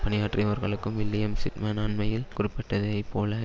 பணியாற்றியவர்களுக்கும் William Sidman அண்மையில் குறிப்பிட்டதைப்போல